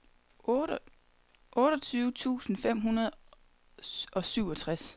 otteogtyve tusind fem hundrede og syvogtres